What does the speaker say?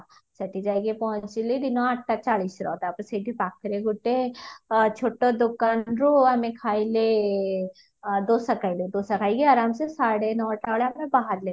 ସେଠି ଯାଇକି ପହଞ୍ଚିଲି ଦିନ ଆଠଟା ଚାଳିଶର ତାପରେ ସେଇଠି ପାଖରେ ଗୋଟେ ଛୋଟ ଦୋକାନରୁ ଆମେ ଖାଇଲେ ଦୋସା ଖାଇଲେ ଦୋସା ଖାଇକି ଆରମସେ ସାଢେ ନଅଟା ବେଳେ ଆମେ ବାହାରିଲେ